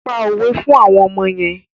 Pa òwe fún àwọn ọmọ yẹn.